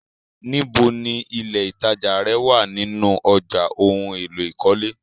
Níbò ni ilẹ́ ìtajà rẹ̀ wá nínu ọ̀já ohun èlò ìkọ́lé?